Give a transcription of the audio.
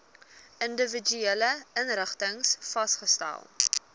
individuele inrigtings vasgestel